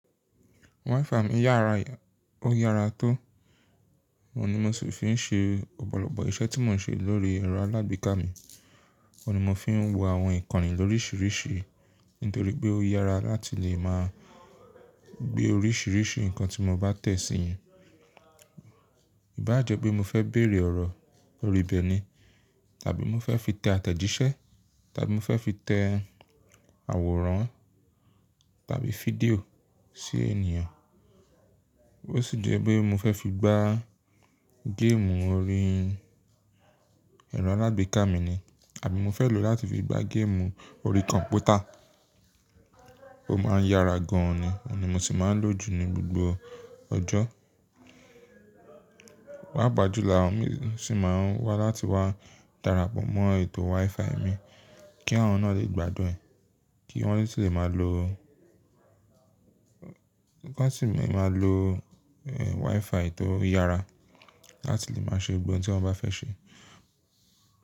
WiFi mi yára, ó yára tó. Òun ni mo sì fi ń ṣe ọ̀pọ̀lọpọ̀ iṣẹ́ tí mo ń ṣe lórí ẹ̀rọ alágbèéká mi. Òun ni mo fi ń wo àwọn ìkànnì lórísìíríṣìí, nítorí pé ó yára láti lè máa gbé orísìíríṣìí nǹkan tí mo bá tẹ̀ sí yín. Ìbá jẹ́ pé mo fẹ́ bèrè ọ̀rọ̀ lórí bẹ́ẹ̀ ni, tàbí mo fẹ́ fi tẹ àtẹ̀jíṣẹ́, tàbí mo fẹ́ fi tẹ àwòrán tàbí fídíò sí ènìyàn. Ó sì jẹ́ pé mo fẹ́ fi gbá géèmù orí ẹ̀rọ alágbèéká mi ni, àbí mo fẹ́ lòó láti fi gbá géèmù orí kọ̀m̀pútà. Ó máa ń yára gan ni, òun ni mo sì máa ń lò jù ní gbògbò ọjọ́. Pápajúlọ̀, àwọn mìíràn sì máa ń wá láti wá darapọ̀ mọ́ ètò WiFi mi kí àwọn náà lè gbádùn ẹ̀. Kí wọ́n sì lè máa lo, wọ́n sì lè máa lo WiFi tó yára láti lè máa ṣe ohun tí wọ́n bá fẹ́ ṣe.